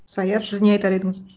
сая сіз не айтар едіңіз